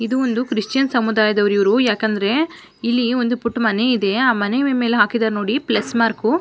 ಇದು ಒಂದು ಕ್ರಿಶ್ಚಿಯನ್ ಸಮುದಾಯದವರು ಇವರು ಯಾಕಂದ್ರೆ ಇಲ್ಲಿ ಪುಟ್ಟ ಮನೆ ಇದೆ. ಆ ಮನೆ ಮೇಲೆ ಹಾಕಿದಾರೆ ನೋಡಿ ಪ್ಲಸ್ ಮಾರ್ಕ್ .